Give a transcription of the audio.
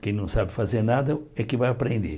Quem não sabe fazer nada é que vai aprender.